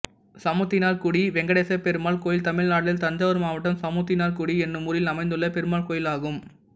சமுத்தினார்குடி வெங்கடேசபெருமாள் கோயில் தமிழ்நாட்டில் தஞ்சாவூர் மாவட்டம் சமுத்தினார்குடி என்னும் ஊரில் அமைந்துள்ள பெருமாள் கோயிலாகும்